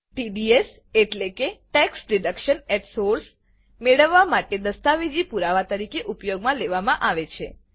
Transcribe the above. TDS એટલેકે મેળવવા માટે દસ્તાવેજી પુરાવા તરીકે ઉપયોગમાં લેવા માં આવે છે